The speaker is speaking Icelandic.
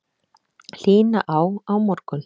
Hlýna á á morgun